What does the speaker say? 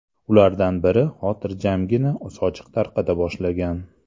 Ulardan biri xotirjamgina sochiq tarqata boshlagan.